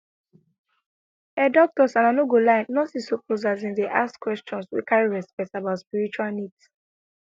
ehh doctors and i no go lie nurses suppose asin dey ask questions wey carry respect about spiritual needs